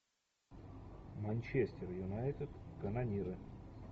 манчестер юнайтед канониры